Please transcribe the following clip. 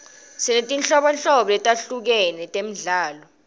sinetinholobo letihlukahlukere temidlalo